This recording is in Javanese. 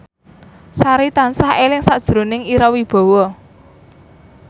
Sari tansah eling sakjroning Ira Wibowo